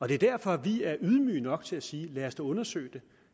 det er derfor at vi er ydmyge nok til at sige lad os dog undersøge det